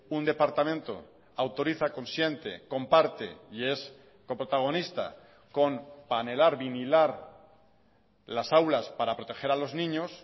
un departamento autoriza consciente comparte y es coprotagonista con panelar vinilar las aulas para proteger a los niños